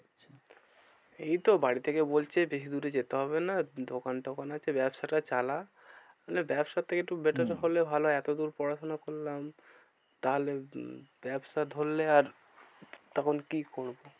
এইতো বাড়ি থেকে বলছে বেশি দূরে যেতে হবে না দোকান টোকান আছে ব্যবসা টা চালা। মানে ব্যবসার থেকে একটু better হম হলে ভালো হয় এত দূর পড়াশোনা করলাম। তাহলে উম ব্যবসা ধরলে আর তখন কি করবো?